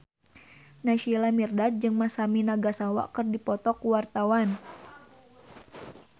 Naysila Mirdad jeung Masami Nagasawa keur dipoto ku wartawan